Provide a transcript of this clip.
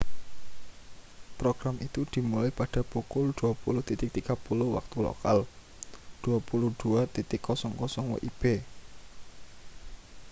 program itu dimulai pada pukul 20.30 waktu lokal 22.00 wib